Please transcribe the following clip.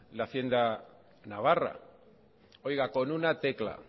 la hacienda navarra oiga con una tecla